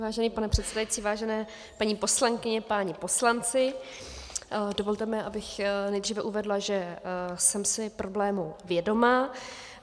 Vážený pane předsedající, vážené paní poslankyně, páni poslanci, dovolte mi, abych nejdříve uvedla, že jsem si problému vědoma.